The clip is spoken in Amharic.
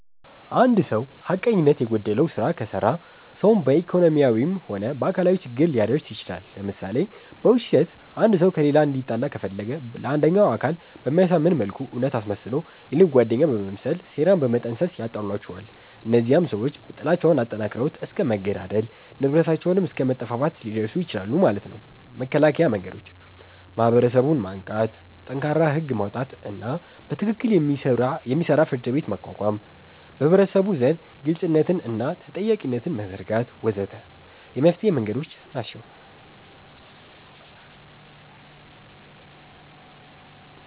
እንድ ሰዉ ሐቀኝነት የጎደለዉ ስራ ከሰራ ሰዉን በኢኮኖሚያዊም ሆነ በአካላዊ ችግር ሊያደርስ ይችላል ለምሳሌ፦ በዉሸት አንድ ሰዉ ከሌላ እንዲጣላ ከፈለገ ለአንደኛዉ አካል በሚያሳምን መልኩ እዉነት አስመስሎ የልብ ጓደኛ በመምሰል ሴራን በመጠንሰስ ያጣላቸዋል እነዚያም ሰዎች ጥላቻዉን አጠንክረዉት እስከ መገዳደል፣ ንብረታቸዉንም አስከ መጠፋፋት ሊደርሱ ይችላሉ ማለት ነዉ። መከላከያ መንገዶች፦ ማህበረሰቡን ማንቃት፣ ጠንካራ ህግ ማዉጣትና በትክክል የሚሰራ ፍርድቤት ማቋቋም፣ በህብረተሰቡ ዘንድ ግልፅነትንና ተጠያቂነትን መዘርጋት ወ.ዘ.ተ የመፍትሔ መንገዶች ናቸዉ።